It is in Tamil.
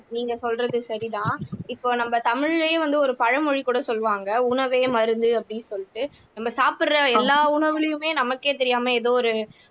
நீங்க சொல்றது சரிதான் இப்ப நம்ம தமிழ்லயே வந்து ஒரு பழமொழி கூட சொல்வாங்க உணவே மருந்து அப்படின்னு சொல்லிட்டு நம்ம சாப்பிடுற எல்லா உணவுலயுமே நமக்கே தெரியாம ஏதோ ஒரு